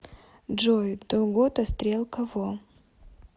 джой долгота стрелка во